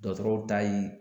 Dɔgɔtɔrɔw ta ye